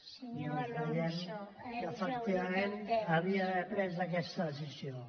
doncs veiem que efectivament hauria d’haver pres aquesta decisió